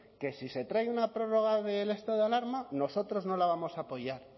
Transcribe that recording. que si se trae una prórroga del estado de alarma nosotros no la vamos a apoyar